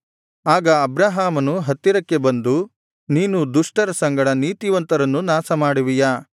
ಆಗ ಅಬ್ರಹಾಮನು ಹತ್ತಿರಕ್ಕೆ ಬಂದು ನೀನು ದುಷ್ಟರ ಸಂಗಡ ನೀತಿವಂತರನ್ನೂ ನಾಶಮಾಡುವಿಯಾ